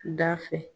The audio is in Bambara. Da fɛ